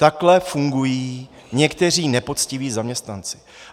Takhle fungují někteří nepoctiví zaměstnanci.